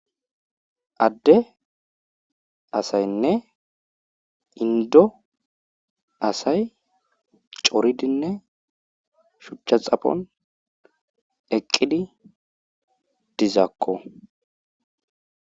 adde asaynne indo asay coridinne shuchcha xapon eqqidi dizakko